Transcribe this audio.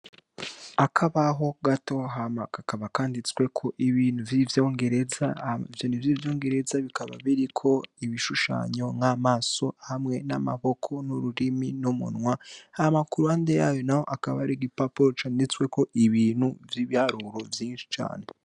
Akabaho gato hama gakaba kanditsweko ibintu vy'ivyongereza avyoni vy'ivyo ngereza bikaba biriko ibishushanyo nk'amaso hamwe n'amaboko n'ururimi numunwa hamakuru hande yayo na ho akabari g i paporo canditsweko ibintu vy'ibyaruro vyinshi cane.